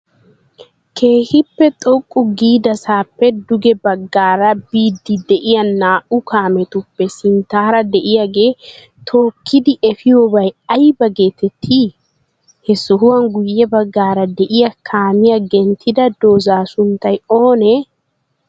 keehippe xoqqu giidasappe dugee baggara biydi de'iyaa naa'u kaammetuppe sinttara de'iyaagee tokkidi efiyobaay aybaa geteetti? he sohuwan guye baggara de'iya kaammiya genttida dooza sunttay oone?